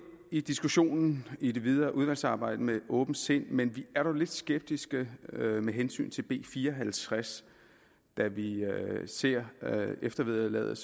i diskussionen i det videre udvalgsarbejde med et åbent sind men vi er dog lidt skeptiske med med hensyn til b fire og halvtreds da vi ser eftervederlaget